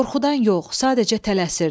Qorxudan yox, sadəcə tələsirdi.